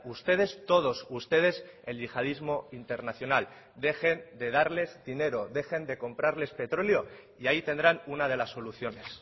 ustedes todos ustedes el yihadismo internacional dejen de darles dinero dejen de comprarles petróleo y ahí tendrán una de las soluciones